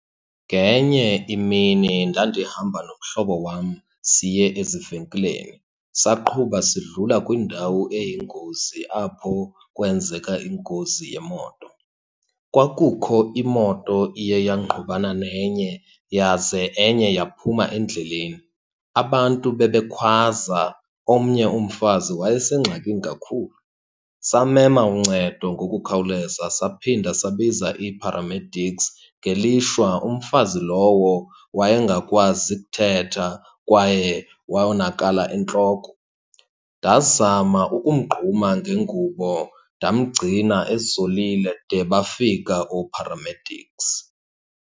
Ngenye imini ndandihamba nomhlobo wam siye ezivenkileni, saqhuba sidlula kwindawo eyingozi apho kwenzeka ingozi yemoto. Kwakukho imoto iye yangqubana nenye yaze enye yaphuma endleleni. Abantu bebekhwaza, omnye umfazi wayesengxakini kakhulu. Samema uncedo ngokukhawuleza saphinda sabiza ii-paramedics. Ngelishwa umfazi lowo wayengakwazi ukuthetha kwaye wonakala entloko. Ndazama ukumgquma ngengubo, ndamgcina ezolile de bafika oo-paramedics.